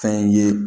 Fɛn ye